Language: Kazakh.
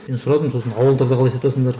мен сұрадым сосын ауылдарда қалай сатасыңдар